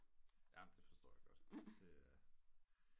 Ja men det forstår jeg godt det er